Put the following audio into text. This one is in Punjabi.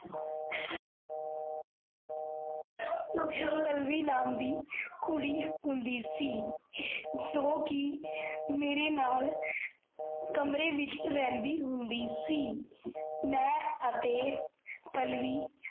ਪਲ੍ਲਵੀ ਨਾਮ ਦੀ ਕੁੜੀ ਹੁੰਦੀ ਸੀ, ਜੋ ਕੀ ਮੇਰੇ ਨਾਲ , ਕਮਰੇ ਵਿਚ ਰਿਹੰਦੀ ਹੁੰਦੀ ਸੀ ਮੈਂ ਅਤੇ ਪਲ੍ਲਵੀ